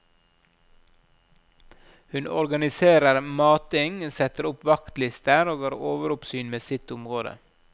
Hun organiserer mating, setter opp vaktlister og har overoppsyn med sitt område.